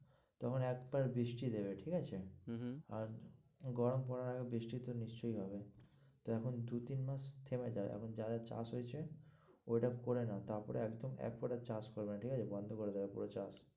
তখন একবার বৃষ্টি দেবে ঠিক আছে? হম হম আর গরম পরার আগে বৃষ্টি তো নিশ্চয়ই হবে, তো এখন দু-তিন মাস থেমে যাও এখন যা যা চাষ হয়েছে ওইটা করে নাও, তারপরে একদম একবারে চাষ করবে না ঠিক আছে? বন্ধ করে দেবে পুরো চাষ।